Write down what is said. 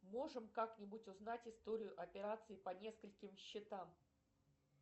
можем как нибудь узнать историю операций по нескольким счетам